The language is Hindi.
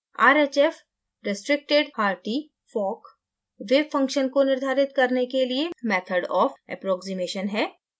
rhf restricted hartee fockवेव function को निर्धारित करने के लिए method of अप्रोक्सिमेशन अंदाज़ा लगाने का method है